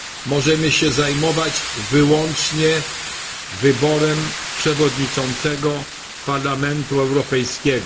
Możemy się zajmować wyłącznie wyborem przewodniczącego Parlamentu Europejskiego.